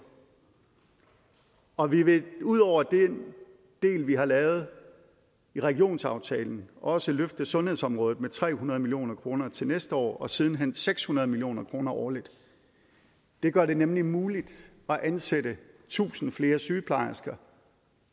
og vi vil ud over den del vi har lavet i regionsaftalen også løfte sundhedsområdet med tre hundrede million kroner til næste år og siden hen seks hundrede million kroner årligt det gør det nemlig muligt at ansætte tusind flere sygeplejersker